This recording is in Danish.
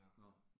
Nåh